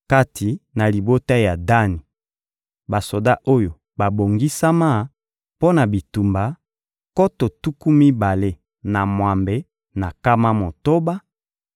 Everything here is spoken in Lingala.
kati na libota ya Dani: basoda oyo babongisama mpo na bitumba, nkoto tuku mibale na mwambe na nkama motoba;